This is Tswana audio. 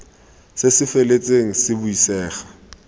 se se feletseng se buisega